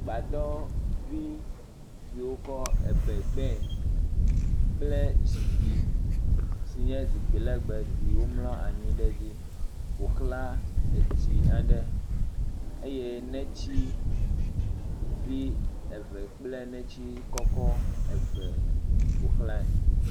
Gbadɔvi yi wokɔ ebɛ gbɛɛ kple zipki si nye zikpi lɛgbɛ si womlɔ anyi ɖe dzi ƒo ʋlã etsi aɖe eye netsivi eve kple netsi kɔkɔ eve ƒo ʋlãe.